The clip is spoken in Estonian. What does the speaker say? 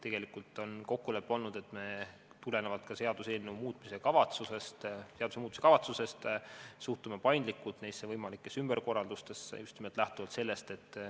Tegelikult on kokkulepe olnud, et me tulenevalt seaduseelnõu muutmise kavatsusest suhtume paindlikult võimalikesse ümberkorraldustesse.